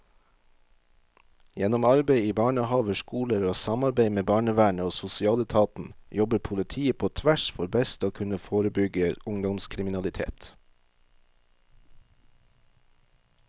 Gjennom arbeid i barnehaver, skoler og samarbeid med barnevernet og sosialetaten jobber politiet på tvers for best å kunne forebygge ungdomskriminalitet.